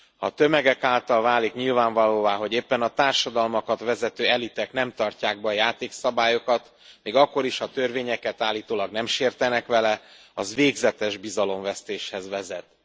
Ha tömegek számára válik nyilvánvalóvá, hogy éppen a társadalmakat vezető elitek nem tartják be a játékszabályokat még akkor is, ha törvényeket állítólag nem sértenek vele az végzetes bizalomvesztéshez vezet.